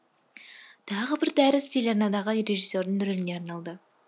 тағы бір дәріс телеарнадағы режиссердің рөліне арналды